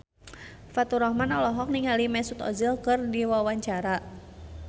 Faturrahman olohok ningali Mesut Ozil keur diwawancara